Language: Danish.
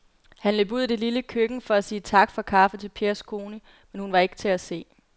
Han løb ud i det lille køkken for at sige tak for kaffe til Pers kone, men hun var ikke til at se.